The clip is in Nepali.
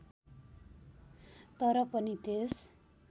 तर पनि त्यस